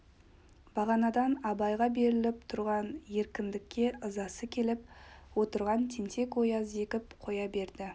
бағанадан абайға беріліп тұрған еркіндікке ызасы келіп отырған тентек-ояз зекіп қоя берді